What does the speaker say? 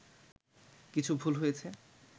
কিছু ভুল হয়েছে